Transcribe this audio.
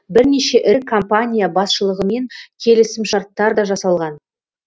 бірнеше ірі компания басшылығымен келісімшарттар да жасалған